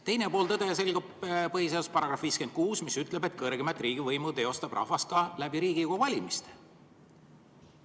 Teine pool tõest selgub põhiseaduse §‑st 56, mis ütleb, et kõrgeimat riigivõimu teostab rahvas ka Riigikogu valimisega.